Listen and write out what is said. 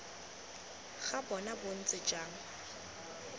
ga bona bo ntse jang